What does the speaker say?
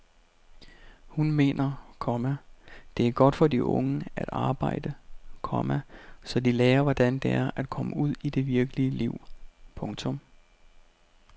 Hun mener, komma det er godt for de unge at arbejde, komma så de lærer hvordan det er at komme ud i det virkelige liv. punktum